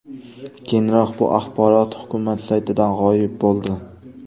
Keyinroq bu axborot hukumat saytidan g‘oyib bo‘ldi.